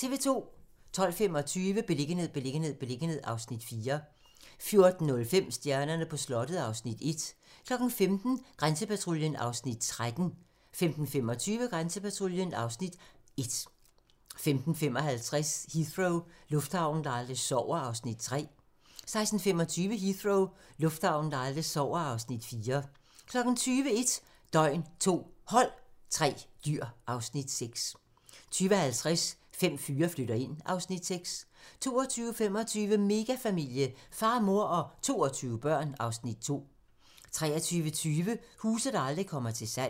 12:25: Beliggenhed, beliggenhed, beliggenhed (Afs. 4) 14:05: Stjernerne på slottet (Afs. 1) 15:00: Grænsepatruljen (Afs. 13) 15:25: Grænsepatruljen (Afs. 1) 15:55: Heathrow - lufthavnen, der aldrig sover (Afs. 3) 16:25: Heathrow - lufthavnen, der aldrig sover (Afs. 4) 20:00: 1 døgn, 2 hold, 3 dyr (Afs. 6) 20:50: Fem fyre flytter ind (Afs. 6) 22:25: Megafamilie - far, mor og 22 børn (Afs. 2) 23:20: Huse, der aldrig kommer til salg